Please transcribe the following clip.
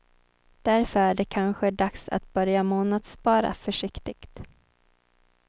Därför är det kanske dags att börja månadsspara försiktigt.